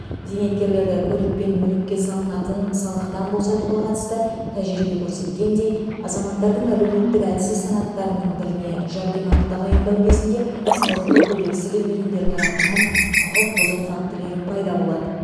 зейнеткерлерді көлік пен мүлікке салынатын салықтан босатуға қатысты тәжірибе көрсеткендей азаматтардың әлеуметтік әлсіз санаттарының біріне жәрдемақы тағайындау кезінде салықты төлегісі келмейтіндер тарапынан құқық бұзу фактілері пайда болады